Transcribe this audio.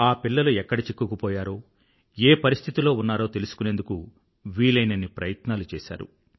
ఆ పిల్లలు ఎక్కడ చిక్కుకుపోయారో ఏ పరిస్థితిలో ఉన్నారో తెలుసుకునేందుకు వీలయినన్ని ప్రయత్నాలు చేశారు